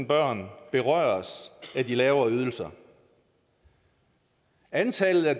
børn berøres af de lavere ydelser antallet af